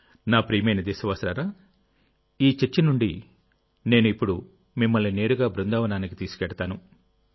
నా ప్రియమైన దేశవాసులారాఈ చర్చ నుండి నేను ఇప్పుడు మిమ్మల్ని నేరుగా బృందావనానికి తీసుకెళ్తాను